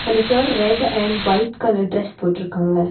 அந்த sir red and white colour dress போட்ருக்காங்க.